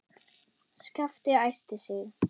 Skapti æsti sig.